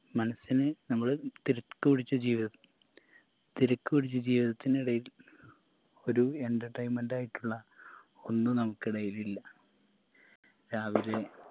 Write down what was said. മനസ്സിന് നമ്മള് തിരക്കു പിടിച്ച ജീവിത തിരക്ക് പിടിച്ച ജീവിതത്തിനിടയിൽ ഒരു entertainment ആയിട്ടുള്ള ഒന്ന് നമുക്കിടയിലില്ല രാവിലെ